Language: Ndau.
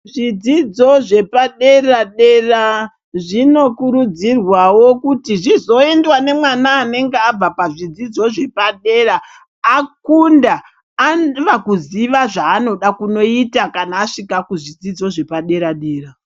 Zvidzidzo zvepa dera dera zvino kurudzi rwawo kuti zvizo endwa ne mwana anenge abva pa zvidzidzo zvepa dera akunda ava kuziva zva anoda kunoita kana asvika ku zvidzidzo zvapa dera dera.